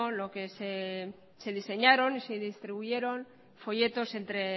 lo que se diseñaron y se distribuyeron folletos entre